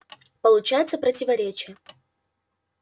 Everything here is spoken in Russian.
получается противоречие